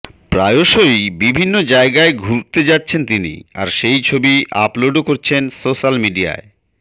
প্রায়শই বিভিন্ন জায়গায় ঘুরতে যাচ্ছেন তিনি আর সেই ছবি আপলোডও করছেন সোশ্যাল মিডিয়ায়